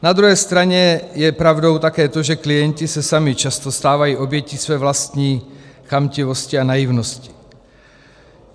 Na druhé straně je pravdou také to, že klienti se sami často stávají obětí své vlastní chamtivosti a naivnosti.